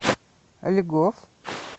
льгов